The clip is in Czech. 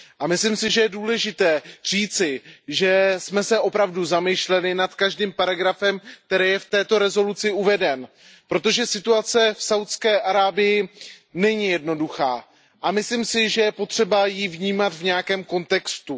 Myslím si, že je důležité říci, že jsme se opravdu zamýšleli nad každým paragrafem, který je v této rezoluci uveden, protože situace v Saúdské Arábii není jednoduchá a myslím si, že je potřeba ji vnímat v nějakém kontextu.